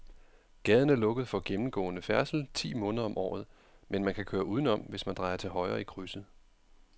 Gaden er lukket for gennemgående færdsel ti måneder om året, men man kan køre udenom, hvis man drejer til højre i krydset.